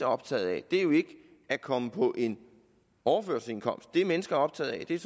optaget af er jo ikke at komme på en overførselsindkomst det mennesker er optaget af er